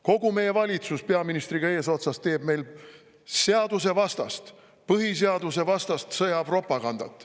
Kogu meie valitsus, peaministriga eesotsas, teeb meil seadusevastast, põhiseadusevastast sõjapropagandat.